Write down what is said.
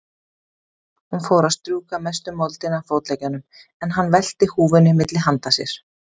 Hún fór að strjúka mestu moldina af fótleggjunum, en hann velti húfunni milli handa sér.